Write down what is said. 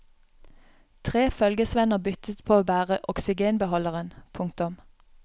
Tre følgesvenner byttet på å bære oksygenbeholderen. punktum